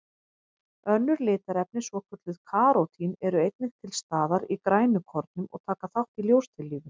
Önnur litarefni, svokölluð karótín, eru einnig til staðar í grænukornum og taka þátt í ljóstillífun.